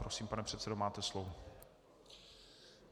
Prosím, pane předsedo, máte slovo.